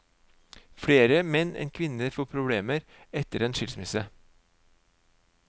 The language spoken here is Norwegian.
Flere menn enn kvinner får problemer etter en skilsmisse.